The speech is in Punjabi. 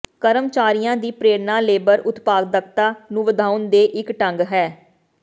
ਕਰਮਚਾਰੀਆਂ ਦੀ ਪ੍ਰੇਰਣਾ ਲੇਬਰ ਉਤਪਾਦਕਤਾ ਨੂੰ ਵਧਾਉਣ ਦੇ ਇੱਕ ਢੰਗ ਹੈ